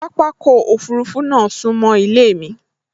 Pápákọ̀ òfurufú náà sún mọ́ ilé mi